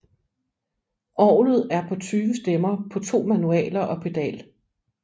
Orgelet er på 20 stemmer på to manualer og pedal